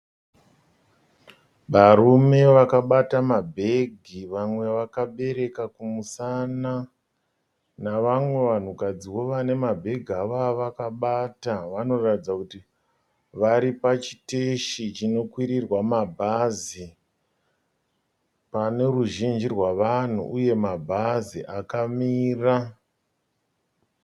Varume vakabata mabhegi, vamwe vakabereka kumusana, navamwe vanhukadziwo vane mabhegi akavakabata vanoratidza kuti vari pachiteshi chinokwirirwa mabhazi pane ruzhinji rwavanhu uye mabhazi akamira.